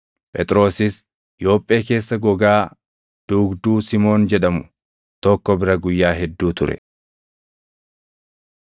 Phexrosis Yoophee keessa gogaa duugduu Simoon jedhamu tokko bira guyyaa hedduu ture.